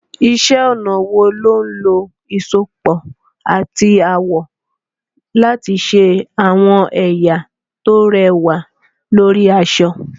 Iṣẹ́ ọnà wo ló ń lo ìsopọ̀ àti àwọ̀ láti ṣe àwọn ẹ̀yà tó rẹwà lórí aṣọ?